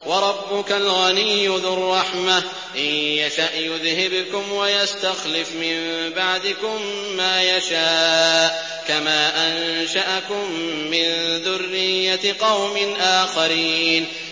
وَرَبُّكَ الْغَنِيُّ ذُو الرَّحْمَةِ ۚ إِن يَشَأْ يُذْهِبْكُمْ وَيَسْتَخْلِفْ مِن بَعْدِكُم مَّا يَشَاءُ كَمَا أَنشَأَكُم مِّن ذُرِّيَّةِ قَوْمٍ آخَرِينَ